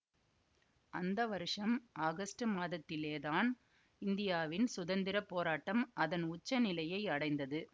அந்த வருஷம் ஆகஸ்டு மாதத்திலேதான் இந்தியாவின் சுதந்திர போராட்டம் அதன் உச்ச நிலையை அடைந்தது